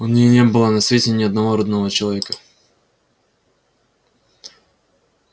у ней не было на свете ни одного родного человека